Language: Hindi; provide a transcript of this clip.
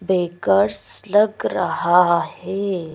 बेकर्स लग रहा है।